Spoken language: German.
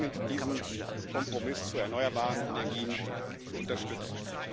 Ich bitte dringend, diesen Kompromiss zu erneuerbaren Energien zu unterstützen.